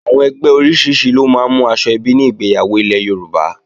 Àwọn ẹgbẹ́ oríṣiríṣi ló máa ń mú aṣọ ẹbí ní ìgbéyàwó ilẹ̀ Yorùbá